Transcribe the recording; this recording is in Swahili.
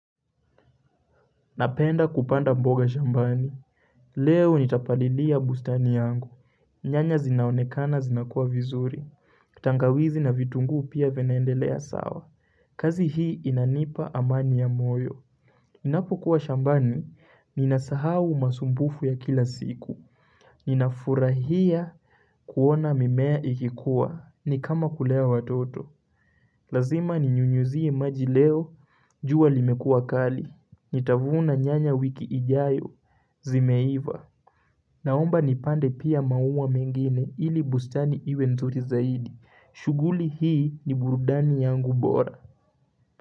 Napenda kupanda mboga shambani Leo nitapalilia bustani yangu nyanya zinaonekana zinakua vizuri tangawizi na vitunguu pia venaendelea sawa kazi hii inanipa amani ya moyo ninapo kuwa shambani Ninasahau masumbufu ya kila siku Ninafurahia kuona mimea ikikuwa ni kama kulea watoto Lazima ninyunyuzie imaji leo jua limekua kali Nitavuna nyanya wiki ijayo Zimeiva, naomba nipande pia maua mengine ili bustani iwe nzuri zaidi. Shuguli hii ni burudani yangu bora.